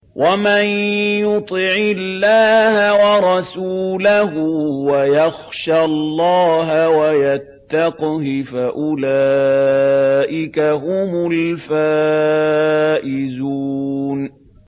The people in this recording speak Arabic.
وَمَن يُطِعِ اللَّهَ وَرَسُولَهُ وَيَخْشَ اللَّهَ وَيَتَّقْهِ فَأُولَٰئِكَ هُمُ الْفَائِزُونَ